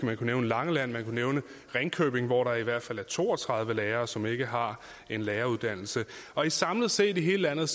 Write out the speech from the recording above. man kunne nævne langeland man kunne nævne ringkøbing hvor der i hvert fald er to og tredive lærere som ikke har en læreruddannelse samlet set i hele landet